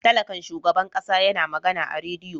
Talakan shugaban kasa ya na magana a radiyo.